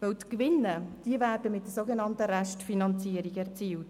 Die Gewinne werden mit der sogenannten Restfinanzierung erzielt.